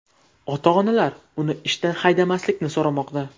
Ota-onalar uni ishdan haydamaslikni so‘ramoqda.